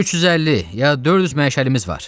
350, ya 400 məşəlimiz var.